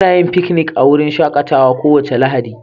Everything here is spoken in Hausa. Muna yin fiknik a wurin shakatawa kowace Lahadi.